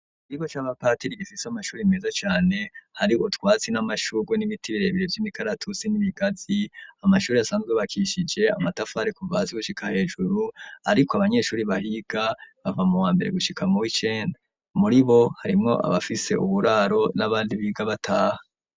Ikigo c'abapatiri gifise amashuri meza cane, hari utwatsi n'amashugwe n'ibiti birebire vy'imikaratusi n'ibigazi. Amashuri asanzwe yubakishije amatafari kuva hasi gushika hejuru, ariko abanyeshuri bahiga bava mu wa mbere gushika mu wicenda, muri bo harimwo abafise uburaro n'abandi biga bataha.